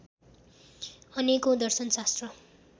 अनेकौं दर्शन शास्त्र